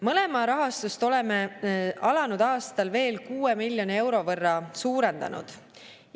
Mõlema rahastust oleme alanud aastal veel 6 miljoni euro võrra suurendanud.